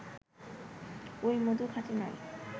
ওই মধু খাঁটি নয়